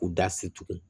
U da se tugun